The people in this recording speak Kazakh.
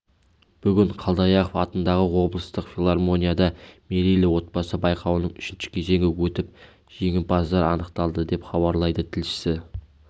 бүгін қалдаяқов атындағы облыстық филармонияда мерейлі отбасы байқауының үшінші кезеңі өтіп жеңімпаздар анықталды деп хабарлайды тілшісі